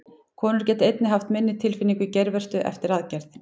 Konur geta einnig haft minni tilfinningu í geirvörtu eftir aðgerð.